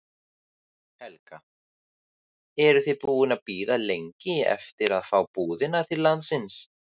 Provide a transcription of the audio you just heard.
Helga: Eruð þið búin að bíða lengi eftir að fá búðina til landsins?